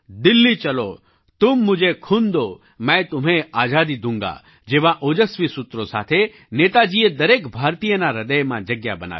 દિલ્લી ચલો તુમ મુઝે ખૂન દો મૈં તુમ્હેં આઝાદી દૂંગા જેવાં ઓજસ્વી સૂત્રો સાથે નેતાજીએ દરેક ભારતીયના હૃદયમાં જગ્યા બનાવી